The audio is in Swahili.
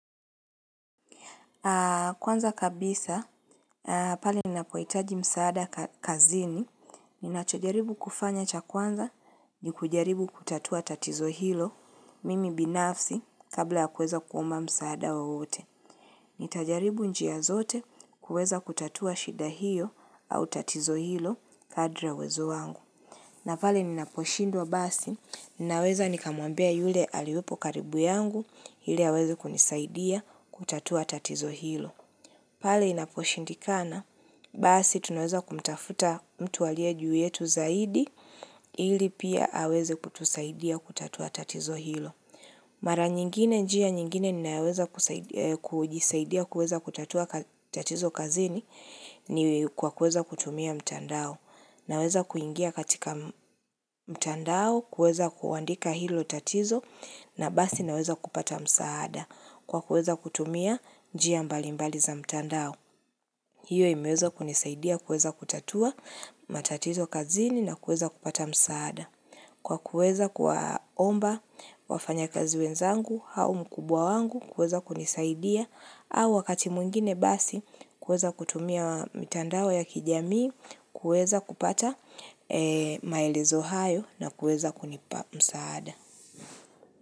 Kwanza kabisa, pale ninapohitaji msaada kazini, ninacho jaribu kufanya cha kwanza, ni kujaribu kutatua tatizo hilo mimi binafsi kabla ya kuweza kuomba msaada wowote. Nitajaribu njia zote kuweza kutatua shida hiyo au tatizo hilo kadri ya uwezo wangu. Na pale ninaposhindwa basi, ninaweza nikamwambia yule aliopo karibu yangu, ili aweze kunisaidia kutatua tatizo hilo. Pale inaposhindikana, basi tunaweza kumtafuta mtu aliye juu yetu zaidi ili pia aweze kutusaidia kutatua tatizo hilo. Mara nyingine njia nyingine ninaweza kujisaidia kutatua tatizo kazini ni kwa kuweza kutumia mtandao. Naweza kuingia katika mtandao kuweza kuandika hilo tatizo na basi naweza kupata msaada kwa kuweza kutumia njia mbali mbali za mtandao. Hiyo imeweza kunisaidia kuweza kutatua matatito kazini nakuweza kupata msaada. Kwa kuweza kuwaomba wafanya kazi wenzangu au mkubwa wangu kuweza kunisaidia au wakati mwingine basi kuweza kutumia mitandao ya kijamii kuweza kupata maelezo hayo na kuweza kunipa msaada.